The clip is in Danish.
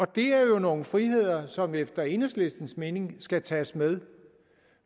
det er jo nogle friheder som efter enhedslistens mening skal tages med